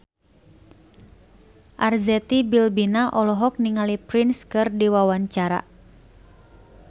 Arzetti Bilbina olohok ningali Prince keur diwawancara